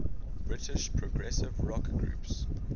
british progressive rock groups